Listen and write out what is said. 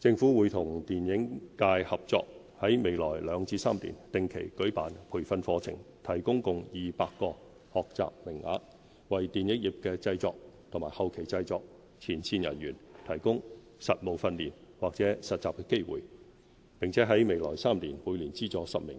政府會與電影界合作，在未來兩至三年定期舉辦培訓課程，提供共200個學習名額，為電影業的製作和後期製作前線人才提供實務訓練或實習機會，並在未來3年每年資助10名